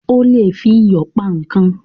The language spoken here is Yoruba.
O lè fi iyò pa ikán